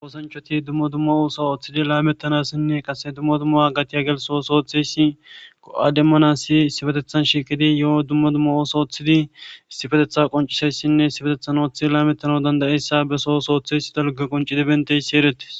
oosanchoti dumma dumma osa ooththidi laamettanassinne qase dumma dumma agatiya gelso ooththeysi ko7a demmanasi sifetethan shiiqidi yo7o dumma dumma oosa ooththidi istifetetha qoncisayssinne sifetethan ooththi laamettano dandayessa besoosooththeys dalga qonci di benteysi erettis